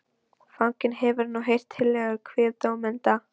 Fanginn hefur nú heyrt tillögur kviðdómenda.